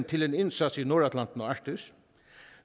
til en indsats i nordatlanten og arktis